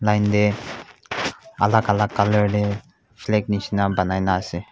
aide alag alag colour teh flag misena banai ase.